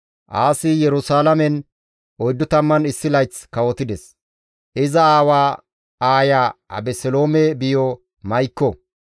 Aasi Yerusalaamen 41 layth kawotides; iza aawaa aaya Abeseloome biyo Ma7ikko.